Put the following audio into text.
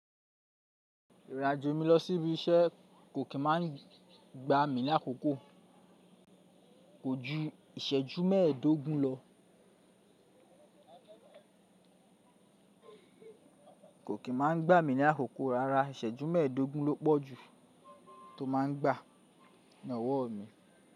Ìrìnàjò mi lọ sí ibi iṣẹ́ kò kí máa ń gba mi ní àkókò, kò ju ìṣẹ́jú mẹ́ẹ̀ẹ́dógún lọ. Kò kí máa ń gba mi ní àkókò, rárá ìṣẹ́jú mẹ́ẹ̀ẹ́dógún ló pọ́ jù tó máa ń gba ní ọwọ́ mi.